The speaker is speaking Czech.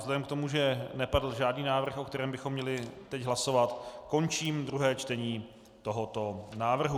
Vzhledem k tomu, že nepadl žádný návrh, o kterém bychom měli teď hlasovat, končím druhé čtení tohoto návrhu.